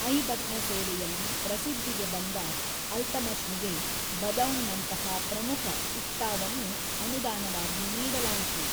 ಐಬಕ್‌ನ ಸೇವೆಯಲ್ಲಿ ಪ್ರಸಿದ್ಧಿಗೆ ಬಂದ ಅಲ್ತಮಷ್‌ನಿಗೆ ಬದೌನ್‌ನಂತಹ ಪ್ರಮುಖ ಇಕ್ಟಾವನ್ನು ‌ಅನುದಾನವಾಗಿ ನೀಡಲಾಯಿತು.